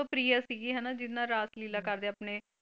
ਪ੍ਰਿਯ ਸੀਗੀ ਹਨਾ ਜਿਸ ਨਾਲ ਰਾਸਲੀਲਾ ਕਰਦੇ ਆਪਣੇ।